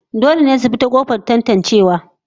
Dole ne su bi ta kofar tatancewa